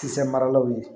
Kisɛ maralaw ye